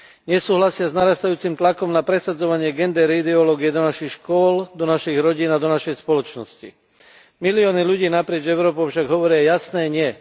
Nesúhlasia s narastajúcim tlakom na presadzovanie gender ideológie do našich škôl, do našich rodín a do našej spoločnosti. Milióny ľudí naprieč Európou však hovoria jasné nie.